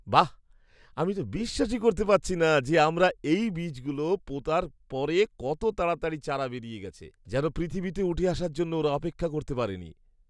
বাঃ, আমি তো বিশ্বাসই করতে পারছি না যে আমরা এই বীজগুলো পোঁতার পরে কত তাড়াতাড়ি চারা বেরিয়ে গেছে। যেন পৃথিবীতে উঠে আসার জন্য ওরা অপেক্ষা করতে পারেনি!